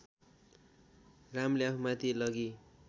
रामले आफूमाथि लगी